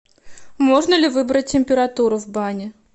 можно ли выбрать температуру в бане